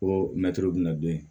Ko mɛtiri bɛna don yen